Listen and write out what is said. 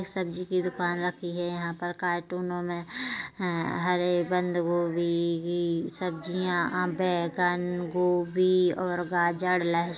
सब्जी की दुकान रखी है यहाँ पर कार्टूनों में हरे बंद गोभी सब्जियां जहाँ बेगन गोभी और गाजर लहसुन सब कुछ रखा है।